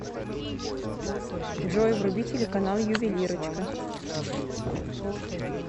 джой вруби телеканал ювелирочка